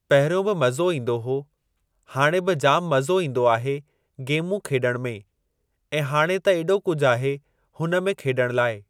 पहिरियों बि मज़ो ईंदो हो, हाणे बि जाम मज़ो ईंदो आहे गेमूं खेलण में, ऐं हाणे त एॾो कुझु आहे हुन में खेलण लाइ।